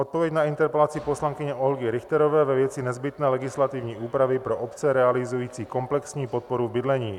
Odpověď na interpelaci poslankyně Olgy Richterové ve věci nezbytné legislativní úpravy pro obce realizující komplexní podporu v bydlení.